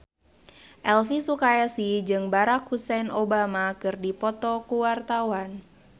Elvi Sukaesih jeung Barack Hussein Obama keur dipoto ku wartawan